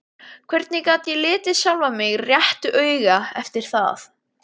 Hvernig gat ég litið sjálfan mig réttu auga eftir það?